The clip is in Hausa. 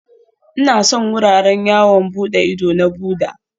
Ina son wuraren yawon bude ido na Buddha